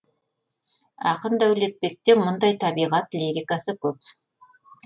ақын дәулетбекте мұндай табиғат лирикасы көп